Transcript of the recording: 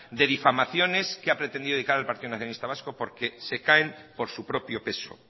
de difamaciones que ha pretendido dedicar el partido nacionalista vasco porque se caen por su propio peso